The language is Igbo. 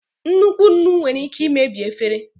Nnukwu nnu nwere ike imebi efere.